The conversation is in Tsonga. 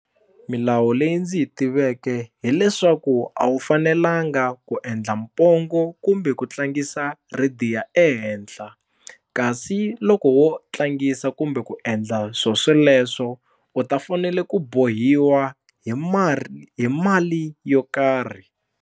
Milawu leyi ndzi yi tiveke hileswaku a wu fanelanga ku endla pongo kumbe ku tlangisa radio ehenhla kasi loko wo tlangisa kumbe ku endla swo sweleswo u ta fanele ku bohiwa hi hi mali yo karhi.